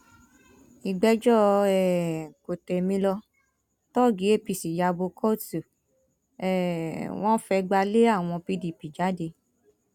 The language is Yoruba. ìgbẹjọ um kòtèmilo tọọgì apc ya bo kóòtù um wọn fẹgbà lé àwọn pdp jáde